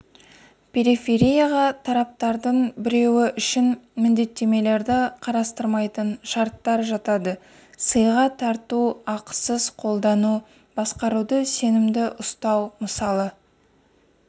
периферияға тараптардың біреуі үшін міндеттемелерді қарастырмайтын шарттар жатады сыйға тарту ақысыз қолдану басқаруды сенімді ұстау мысалы